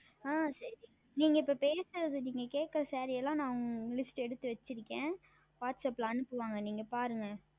ஆஹ் சரி நீங்கள் இப்பொழுது பேசுனது நீங்கள் கேட்கின்ற Saree எல்லாம் நான் List எடுத்து வைத்துள்ளேன் Whatsapp ல் அனுப்புவார்கள் நீங்கள் பாருங்கள்